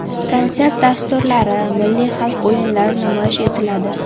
Konsert dasturlari, milliy xalq o‘yinlari namoyish etiladi.